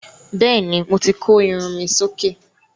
Bẹ́ẹ̀ ni, mo ti kó irun mi sí òkè.